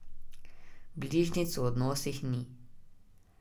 Bližnjic v odnosih ni.